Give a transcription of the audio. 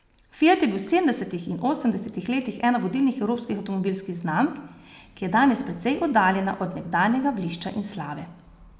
Fiat je bil v sedemdesetih in osemdesetih letih ena vodilnih evropskih avtomobilskih znamk, ki je danes precej oddaljena od nekdanjega blišča in slave.